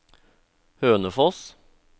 Hønefoss